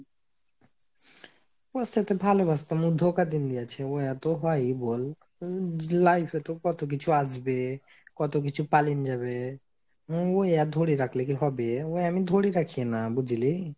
হ সে তো ভালোবাসতাম ও ধোকা দীন দিনদিয়াসে তো হয় বোল? life এ তো কত কিছু আসবে কত কিছু পালিন যাবে ওই আর ধরে রাখলে কি হবে ওই আমি ধরে রাখিনা বুঝলি?